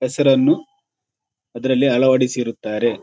ಹೆಸರನ್ನು ಅದರಲ್ಲಿ ಅಳವಡಿಸಿರುತ್ತಾರೆ.